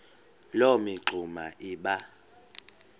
loo mingxuma iba